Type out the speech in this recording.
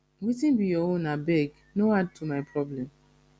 wetin be your own abeg no add to my problem